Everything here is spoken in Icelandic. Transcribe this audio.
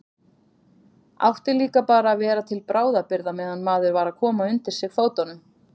Átti líka bara að vera til bráðabirgða meðan maður var að koma undir sig fótunum.